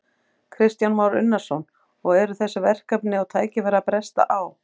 Kristján Már Unnarsson: Og eru þessi verkefni og tækifæri að bresta á?